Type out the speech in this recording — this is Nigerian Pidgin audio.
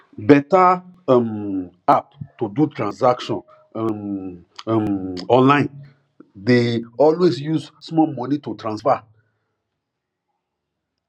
better um app to do transaction um um online dey always use small money to transfer um